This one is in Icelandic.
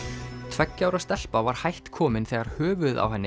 tveggja ára stelpa var hætt komin þegar höfuðið á henni